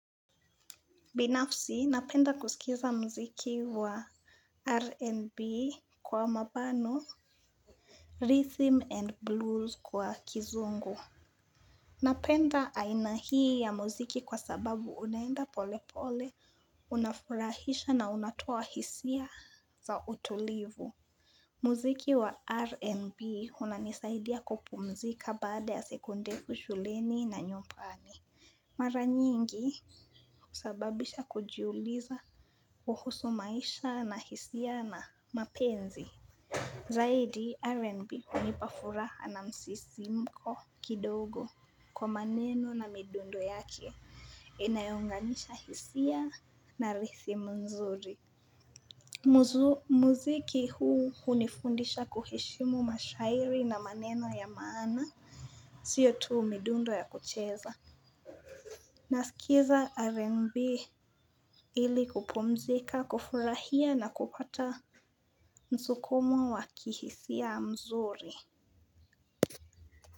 Binafsi, napenda kusikiza muziki wa R&B kwa mabano, rhythm and blues kwa kizungu. Napenda aina hii ya muziki kwa sababu unaenda pole pole, unafurahisha na unatoa hisia za utulivu. Muziki wa R&B unanisaidia kupumzika baada ya sekunde shuleni na nyumpani. Mara nyingi husababisha kujiuliza kuhusu maisha na hisia na mapenzi. Zaidi R&B hunipa furaha na msisimko kidogo kwa maneno na midundo yake inayounganisha hisia na rithim nzuri. Muziki huu hunifundisha kuheshimu mashairi na maneno ya maana sio tu midundo ya kucheza. Nasikiza rnb ili kupumzika, kufurahia na kupata msukumo wa kihsia mzuri.